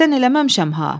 Qəsdən eləməmişəm ha.